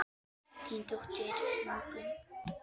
Þín dóttir Ingunn.